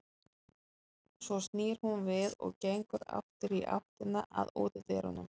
Svo snýr hún við og gengur aftur í áttina að útidyrum.